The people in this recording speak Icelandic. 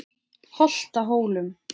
Holtahólum